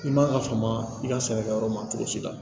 I man ka faama i ka sɛnɛkɛyɔrɔ ma cogo si la